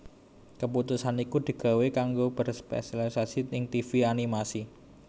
Keputusan iku digawé kanggo berspesialisasi ing tivi animasi